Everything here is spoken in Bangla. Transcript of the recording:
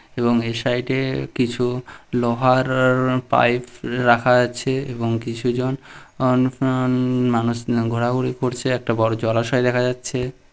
এবং এই সাইড -এ কিছু লোহার-র পাইপ রাখা আছে এবং কিছু জন অন ফন মানুষ ঘোরাঘুরি করছে একটা বড় জলাশয় দেখা যাচ্ছে ।